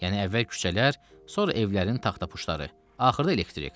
Yəni əvvəl küçələr, sonra evlərin taxta puşları, axırda elektrik.